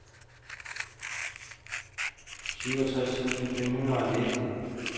syvoghalvtreds tusind fem hundrede og nitten